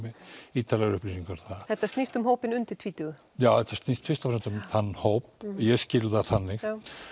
ítarlegar upplýsingar þar þetta snýst um hópinn undir tvítugu já þetta snýst fyrst og fremst um þann hóp ég skil það þannig